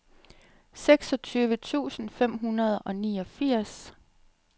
seksogtyve tusind fem hundrede og niogfirs